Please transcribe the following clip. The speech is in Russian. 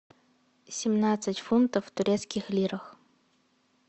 семнадцать фунтов в турецких лирах